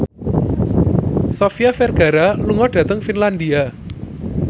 Sofia Vergara lunga dhateng Finlandia